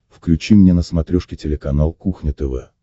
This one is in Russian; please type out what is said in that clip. включи мне на смотрешке телеканал кухня тв